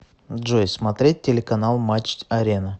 джой смотреть телеканал матч арена